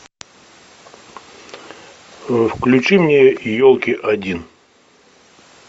включи мне елки один